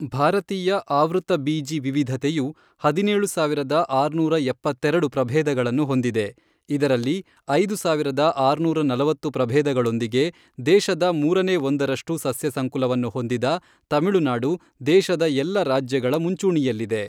ಭಾರತೀಯ ಆವೃತಬೀಜಿ ವಿವಿಧತೆಯು ಹದಿನೇಳು ಸಾವಿರದ ಆರುನೂರ ಎಪ್ಪತ್ತೆರಡು ಪ್ರಭೇದಗಳನ್ನು ಹೊಂದಿದೆ ಇದರಲ್ಲಿ ಐದು ಸಾವಿರದ ಆರುನೂರ ನಲವತ್ತು ಪ್ರಭೇದಗಳೊಂದಿಗೆ ದೇಶದ ಮೂರನೇ ಒಂದರಷ್ಟು ಸಸ್ಯಸಂಕುಲವನ್ನು ಹೊಂದಿದ ತಮಿಳುನಾಡು ದೇಶದ ಎಲ್ಲ ರಾಜ್ಯಗಳ ಮುಂಚೂಣಿಯಲ್ಲಿದೆ.